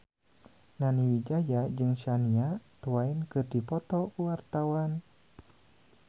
Nani Wijaya jeung Shania Twain keur dipoto ku wartawan